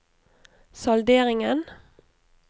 salderingen